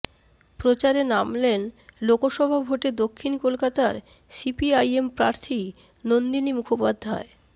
প্রচারে নামলেন লোকসভা ভোটে দক্ষিণ কলকাতার সিপিআইএম প্রার্থী নন্দিনী মুখোপাধ্যায়